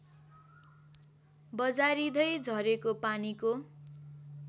बजारिँदै झरेको पानीको